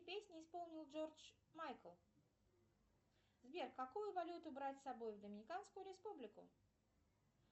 песню исполнил джордж майкл сбер какую валюту брать с собой в доминиканскую республику